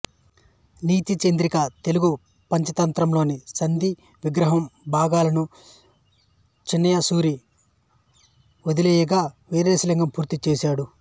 నీతిచంద్రిక తెలుగు పంచతంత్రం లోని సంధి విగ్రహం భాగాలను చిన్నయసూరి వదిలివేయగా వీరేశలింగం పూర్తి చేసాడు